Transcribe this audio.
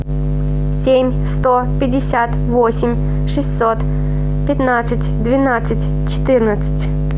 семь сто пятьдесят восемь шестьсот пятнадцать двенадцать четырнадцать